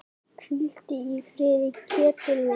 Hvíldu í friði, Ketill minn.